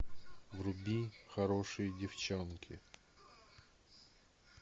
вруби хорошие девчонки